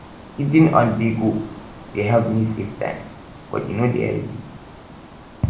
eating onthego dey help me save time but e no dey healthy